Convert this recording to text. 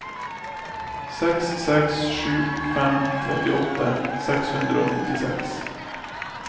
seks seks sju fem trettiåtte seks hundre og nittiseks